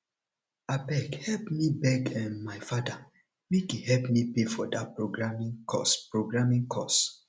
abeg help me beg um my father make he help me pay for dat programing course programing course